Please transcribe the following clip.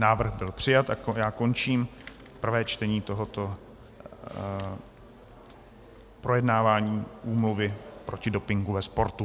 Návrh byl přijat a já končím prvé čtení tohoto projednávání Úmluvy proti dopingu ve sportu.